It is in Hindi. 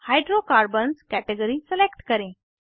हाइड्रोकार्बन्स कैटेगरी सेलेक्ट करें